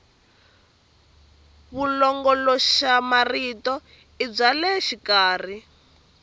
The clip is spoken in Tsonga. vulongoloxamarito i bya le xikarhi